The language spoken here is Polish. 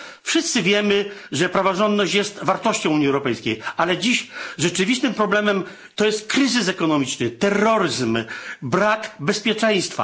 Wszyscy wiemy, że praworządność jest wartością Unii Europejskiej, ale dziś rzeczywistym problemem jest kryzys ekonomiczny, terroryzm, brak bezpieczeństwa.